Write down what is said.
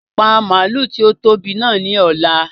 Pa màálù tí ó tóbi náà ni ọ̀la!